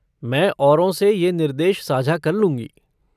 मैं औरों से ये निर्देश साझा कर लूँगी।